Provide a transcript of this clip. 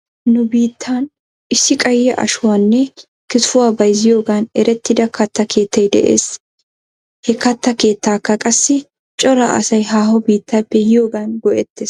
Nu biittan issi qayye ashuwaanne kitifuwaa bayzziyoogan erettida katta keettay de'es. He katta keettaakka qassi cora asay haaho biittappe yiyoogan go'ettes.